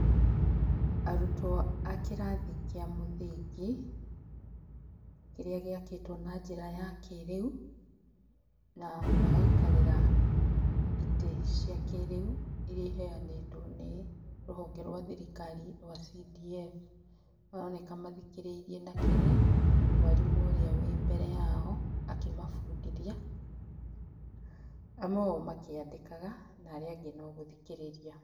Arutwo a kĩrathi kĩa mũthingi kĩrĩa gĩakĩtwo na njĩra ya kĩrĩu na magaikarĩra itĩ cia kĩrĩu iria ĩheanĩtwo nĩ rũhonge rwa thirikari rwa CDF maroneka mathikĩrĩirie na kinyi mwarimũ ũrĩa wĩ mbere yao akĩmabundithia amwe ao makĩandĩkaga na arĩa angĩ no gũthikĩrĩria.